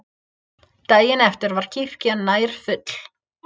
Daginn eftir var kirkjan nær full.